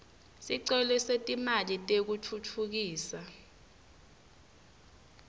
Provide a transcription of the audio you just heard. sicelo setimali tekutfutfukisa